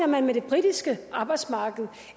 man med det britiske arbejdsmarked